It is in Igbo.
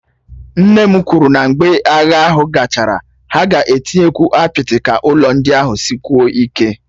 Nne m kwuru na mgbe agha ahụ gachara, ha ga-etinyekwu apịtị ka ụlọ ndị ahụ sikwuo ike